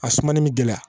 A sumani bɛ gɛlɛya